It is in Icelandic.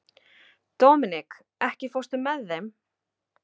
Dominik, ekki fórstu með þeim?